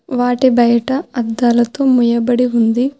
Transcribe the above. వాటి బయట అద్దాలతో మూయబడి ఉంది.